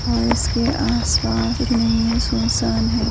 और इसके आसपास कुछ नहीं है सुनसान है।